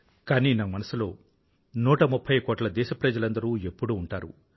కానీ నా మనసులో ఎప్పుడూ 130 కోట్ల దేశప్రజలందరూ ఎప్పుడూ ఉంటారు